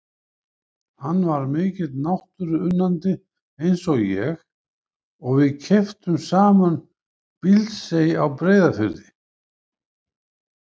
Hann var mikill náttúruunnandi eins og ég og við keyptum saman Bíldsey á Breiðafirði.